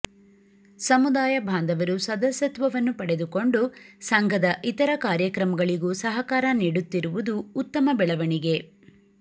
ಸಮುದಾಯ ಬಾಂಧವರು ಸದಸ್ಯತ್ವವನ್ನು ಪಡೆದುಕೊಂಡು ಸಂಘದ ಇತರ ಕಾರ್ಯಕ್ರಮಗಳಿಗೂ ಸಹಕಾರ ನೀಡುತ್ತಿರುವುದು ಉತ್ತಮ ಬೆಳವಣಿಗೆ